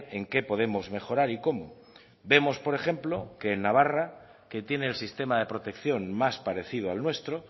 en qué podemos mejorar y cómo vemos por ejemplo que en navarra que tiene el sistema de protección más parecido al nuestro